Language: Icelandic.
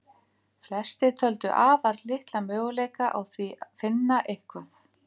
Flestir töldu afar litla möguleika á því finna eitthvað.